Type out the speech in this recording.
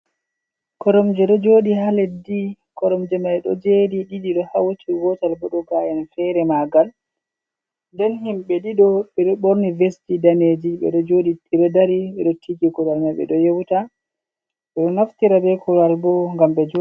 Koromje ɗo joɗi ha leddi, koromje mai ɗo joɗi ɗiɗi do hauti gotal bo ɗo ga’en fere magal, nden himɓe ɗiɗo ɓeɗo borni ves ji daneji beɗo joɗi, ɓeɗo dari ɓeɗo titi ndiri korowal mai ɓeɗo yewuta ɓeɗo naftira be korowal bo ngam be jooɗa.